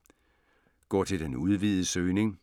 Gå til den udvidede søgning